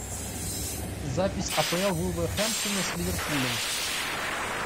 запись апл вулверхэмптона с ливерпулем